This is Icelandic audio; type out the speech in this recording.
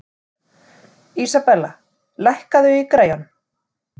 Isabella, lækkaðu í græjunum.